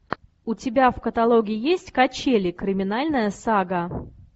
у тебя в каталоге есть качели криминальная сага